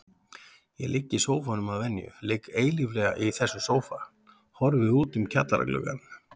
Ég ligg í sófanum að venju, ligg eilíflega í þessum sófa, horfi út um kjallaragluggann.